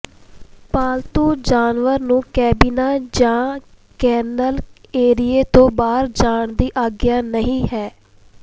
ਪਾਲਤੂ ਜਾਨਵਰ ਨੂੰ ਕੈਬਿਨਾਂ ਜਾਂ ਕਿਨਲ ਏਰੀਏ ਤੋਂ ਬਾਹਰ ਜਾਣ ਦੀ ਆਗਿਆ ਨਹੀਂ ਹੈ